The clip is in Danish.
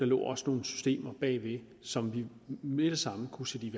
lå der også nogle systemer bagved som vi med det samme kunne sætte i